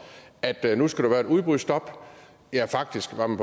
at nu skulle der være et udbudsstop ja faktisk var man